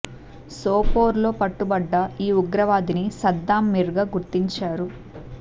సోపోర్ లో పట్టుబడ్డ ఈ ఉగ్రవాదిని సద్దాం మిర్ గా గుర్తించారు